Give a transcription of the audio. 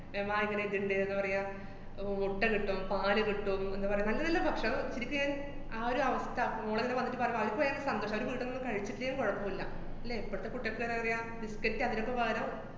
പറയാ, ആഹ് വ~ മുട്ട കിട്ടും, പാല് കിട്ടും എന്താ പറയാ, നല്ല നല്ല ഭക്ഷണം ശെരിക്ക് ഞാന്‍ ആ ഒരവസ്ഥ, മോളിങ്ങനെ വന്നിട്ട് പറഞ്ഞു, അവിടെ പോയാ സന്തോഷം, അവര് വീട്ടീന്നൊന്നും കഴിച്ചിട്ടേലും കൊഴപ്പൂല്ല, ഇല്ലേ, ഇപ്പഴത്തെ കുട്ടികക്ക് തന്നെ അറിയാ, biscuit അതിനൊക്കെ പകരം